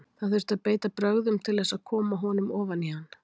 Það þurfti að beita brögðum til þess að koma honum ofan í hann.